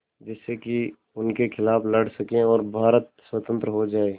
जिससे कि उनके खिलाफ़ लड़ सकें और भारत स्वतंत्र हो जाये